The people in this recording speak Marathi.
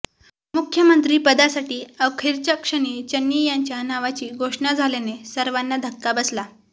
मुख्यमंत्रीपदासाठी अखेरच्या क्षणी चन्नी यांच्या नावाची घोषणा झाल्याने सर्वांच धक्का बसला